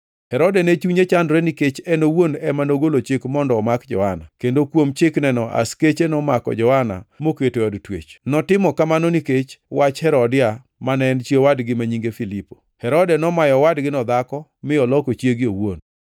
Herode ne chunye chandore nikech en owuon ema nogolo chik mondo omak Johana, kendo kuom chikneno askechene nomako Johana moketo e od twech. Notimo kamano nikech wach Herodia mane en chi owadgi ma nyinge Filipo. Herode nomayo owadgino dhako mi oloko chiege owuon.